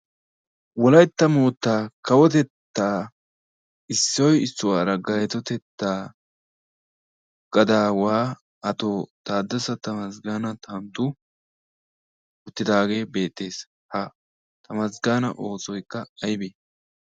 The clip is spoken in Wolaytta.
Wolaiytta moottaa kawotettaa issoy issuwaara gaaytotettaa gadaawaa ato/mantta taaddassa tamazggaana tantu uttidaagee beettees. Ha tamaazggaana oosoykka aybee?